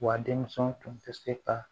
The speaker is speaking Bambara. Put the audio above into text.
Wa denmuso tun tɛ se ka